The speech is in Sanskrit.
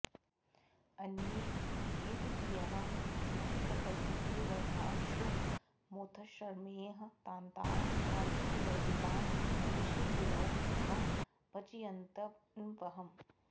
अन्ये भेदधियः श्रुतिप्रकथितैर्वर्णाश्रमोत्थश्रमैः तान्ताः शान्तिविवर्जिता विषयिणो दुःखं भजन्त्यन्वहम्